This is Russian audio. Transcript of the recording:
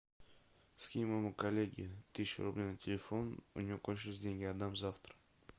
скинь моему коллеге тысячу рублей на телефон у него кончились деньги отдам завтра